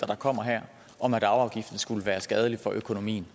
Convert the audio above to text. der kommer her om at arveafgiften skulle være skadelig for økonomien